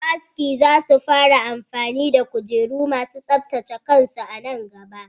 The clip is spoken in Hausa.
Masu aski za su fara amfani da kujeru ma su tsaftace kansu a nan gaba.